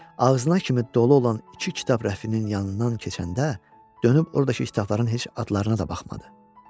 Ağzına kimi dolu olan iki kitab rəfinin yanından keçəndə dönüb ordakı kitabların heç adlarına da baxmadı.